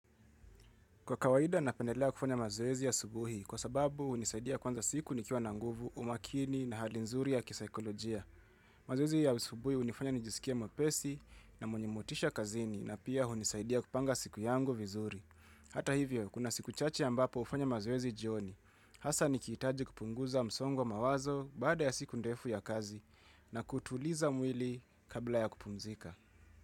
Kwa kawaida napendelea kufanya mazoezi ya asubuhi kwa sababu hunisaidia kuanza siku nikiwa na nguvu, umakini na hali nzuri ya kisaikolojia. Mazoezi ya subuhi hunifanya nijisikie mwepesi na mwenye motisha kazini na pia hunisaidia kupanga siku yangu vizuri. Hata hivyo, kuna siku chache ambapo hufanya mazoezi jioni. Hasa nikihitaji kupunguza msongo wa mawazo baada ya siku ndefu ya kazi na kutuliza mwili kabla ya kupumzika.